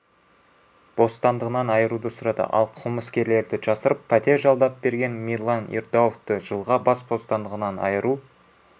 бостандығынан айыруды сұрады ал қылмыскерлерді жасырып пәтер жалдап берген мирлан ердауовты жылға бас бостандығынан айыру